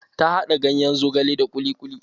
Ta haɗa ganyen zogale da ƙuli ƙuli.